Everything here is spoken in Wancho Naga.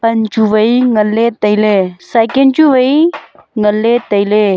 pan chu wai ngan ley tailey cycle chu wai ngan ley tailey.